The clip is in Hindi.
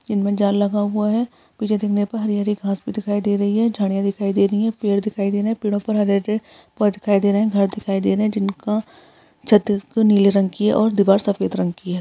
इनमें में जाल लगा हुआ है पीछे देखने पे हरी-हरी घास भी दिखाई दे रही है झाड़ियां दिखाई दे रही हैं पेड़ दिखाई दे रहे हैं पेड़ों पर हरे-हरे पौधे दिखाई दे रहे हैं घर दिखाई दे रहे हैं जिनका छत नीले रंग की है और दीवार सफेद रंग की है।